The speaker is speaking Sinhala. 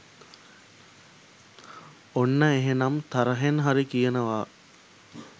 ඔන්න එහෙනම් තරහෙන් හරි කියනවා